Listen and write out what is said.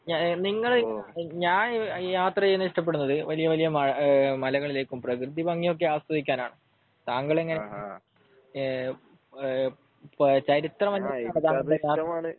നിങ്ങൾ ഏഹ് ഞാൻ യാത്ര ചെയ്യാൻ ഇഷ്ടപ്പെടുന്നത് വലിയ വലിയ മലകളിലേക്കും പ്രകൃതി ബാക്കി ഒക്കെ ആസ്വദിക്കാൻ ആണ്. താങ്കളെങ്ങിനെ ഏഹ് ഏഹ് ചരിത്ര